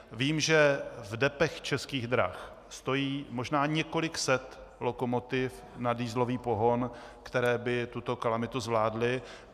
Vím, že v depech Českých drah stojí možná několik set lokomotiv na dieselový pohon, které by tuto kalamitu zvládly.